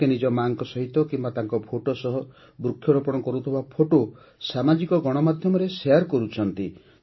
ଲୋକେ ନିଜ ମା'ଙ୍କ ସହିତ କିମ୍ବା ତାଙ୍କ ଫଟୋ ସହ ବୃକ୍ଷରୋପଣ କରୁଥିବା ଫଟୋ ସାମାଜିକ ଗଣମାଧ୍ୟମରେ ଶେୟାର କରୁଛନ୍ତି